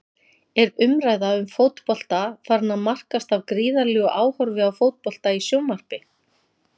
Er umræða um fótbolta farin að markast af gríðarlegu áhorfi á fótbolta í sjónvarpi?